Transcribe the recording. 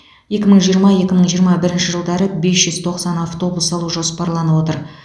екі мың жиырма екі мың жиырма бірінші жылдары бес жүз тоқсан автобус алу жоспарланып отыр